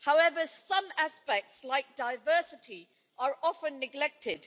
However, some aspects like diversity are often neglected.